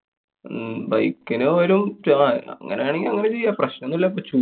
ഹും bike നു പോയാലും അങ്ങനാനെങ്കി അങ്ങനെ ചെയ്യാം. പ്രശ്നൊന്നും ല്ലാ പ~